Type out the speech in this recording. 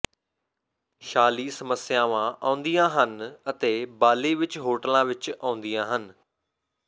ਸ਼ਾਲੀ ਸਮੱਸਿਆਵਾਂ ਆਉਂਦੀਆਂ ਹਨ ਅਤੇ ਬਾਲੀ ਵਿਚ ਹੋਟਲਾਂ ਵਿਚ ਆਉਂਦੀਆਂ ਹਨ